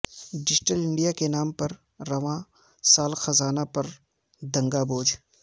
digital India کے نام پر رواں سال خزانہ پر دگنا بوجھ